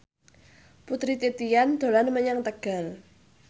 Putri Titian dolan menyang Tegal